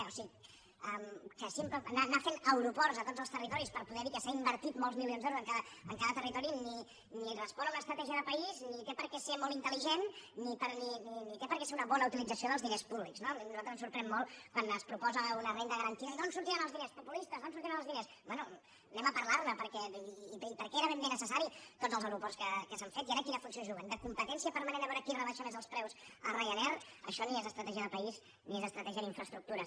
o sigui anar fent aeroports a tots els territoris per poder dir que s’han invertit molts milions d’euros en cada territori ni respon a una estratègia de país ni té per què ser molt intel·ligent ni té per què ser una bona utilització dels diners públics no a nosaltres ens sorprèn molt quan es proposa una renda garantida i d’on sortiran els diners populistes d’on sortiran els diners bé parlem ne perquè i per què eren ben bé necessaris tots els aeroports que s’han fet i ara quina funció juguen de competència permanent a veure qui rebaixa més els preus a ryanair això ni és estratègia de país ni és estratègia d’infraestructures